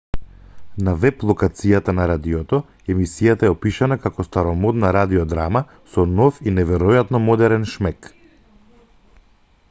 на веб-локацијата на радиото емисијата е опишана како старомодна радиодрама со нов и неверојатно модерен шмек